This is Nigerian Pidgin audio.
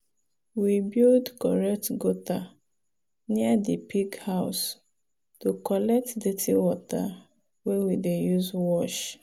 we build correct gutter near the pig house to collect dirty water wey we dey use wash.